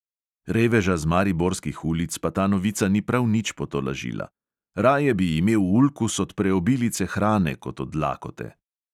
Reveža z mariborskih ulic pa ta novica ni prav nič potolažila: "raje bi imel ulkus od preobilice hrane kot od lakote."